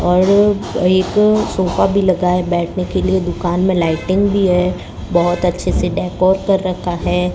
और एक सोफा भी लगाए बैठने के लिए दुकान में लाइटिंग भी है बहुत अच्छे से डेकोर कर रखा है।